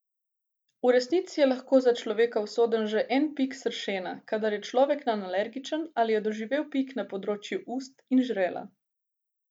V resnici je lahko za človeka usoden že en pik sršena, kadar je človek nanj alergičen ali je doživel pik na področju ust in žrela.